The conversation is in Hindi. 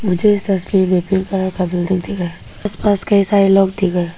मुझे इस तस्वीर मे पिंक कलर का बिल्डिंग दिख रहा आस पास कई सारे लोग दिख रहा।